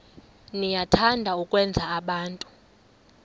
niyathanda ukwenza abantu